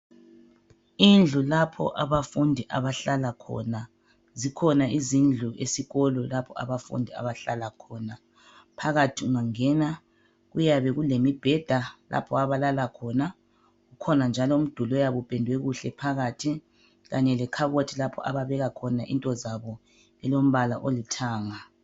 Indlu lapho abafundi abahlala khona, zikhona izindlu esikolo lapho abafundi abahlala khona. Phakathi ungangena kuyabe kulemibheda lapho abalala khona kukhona njalo umduli oyabe upendwe kuhle phakathi kanye lekhabothi ababeka khona into zabo elombala olithanga.